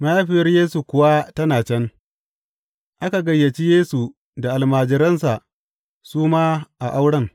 Mahaifiyar Yesu kuwa tana can, aka gayyaci Yesu da almajiransa su ma a auren.